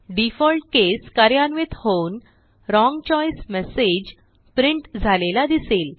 default case कार्यान्वित होऊन wrong choice message print झालेला दिसेल